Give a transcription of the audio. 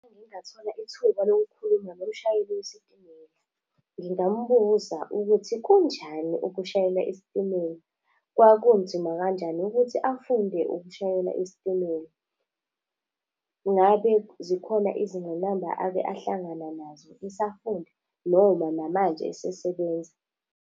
Uma ngingathola ithuba lokukhuluma nomshayeli wesitimela. Ngingamubuza ukuthi kunjani ukushayela isitimela. Kwakunzima kanjani ukuthi afunde ukushayela isitimela. Ngabe zikhona izingqinamba ake ahlangana nazo esafunda noma namanje esesebenza.